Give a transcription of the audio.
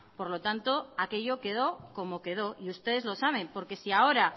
por lo tanto aquello quedó como quedó y ustedes lo saben porque si ahora